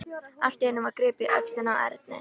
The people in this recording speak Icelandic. Allt í einu var gripið í öxlina á Erni.